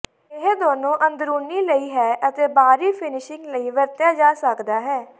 ਇਹ ਦੋਨੋ ਅੰਦਰੂਨੀ ਲਈ ਹੈ ਅਤੇ ਬਾਹਰੀ ਫਿਨਿਸ਼ਿੰਗ ਲਈ ਵਰਤਿਆ ਜਾ ਸਕਦਾ ਹੈ